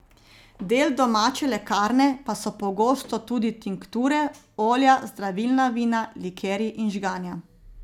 Del domače lekarne pa so pogosto tudi tinkture, olja, zdravilna vina, likerji in žganja.